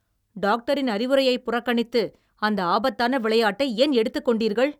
டாக்டரின் அறிவுரையை புறக்கணித்து அந்த ஆபத்தான விளையாட்டை ஏன் எடுத்துக்கொண்டீர்கள்?